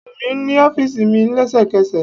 Wo mi ni ọfiisi mi lẹsẹkẹsẹ!